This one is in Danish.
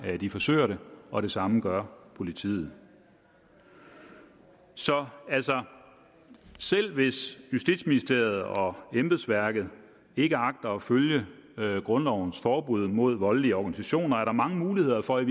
de forsøger det og det samme gør politiet så altså selv hvis justitsministeriet og embedsværket ikke agter at følge grundlovens forbud mod voldelige organisationer er der mange muligheder for i